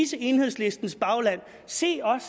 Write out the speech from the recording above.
til enhedslistens bagland se os